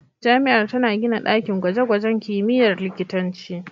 Jami'ar tana gina dakin gwaje-gwajen kimiyyar likitanci.